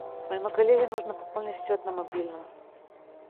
моему коллеге нужно пополнить счет на мобильном